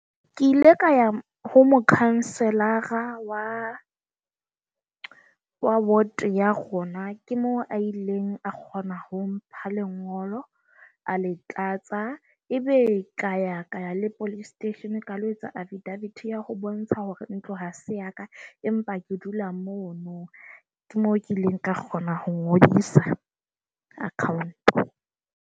Ke ile ka ya ho mokhanselara wa wa ward ya rona, ke mo a ileng a kgona ho mpha lengolo. A le tlatsa. Ebe ka ya ka le police station, ka lo etsa affidavit ya ho bontsha hore ntlo ha se ya ka. Empa ke dula mono ke mo kileng ka kgona ho ngodisa account.